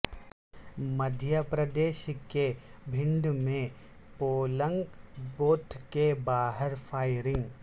مدھیہ پردیش کے بھنڈ میں polling booth کے باہر فائرنگ